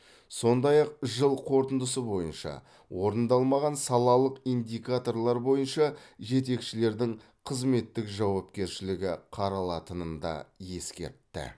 сондай ақ жыл қорытындысы бойынша орындалмаған салалық индикаторлар бойынша жетекшілердің қызметтік жауапкершілігі қаралатынын да ескертті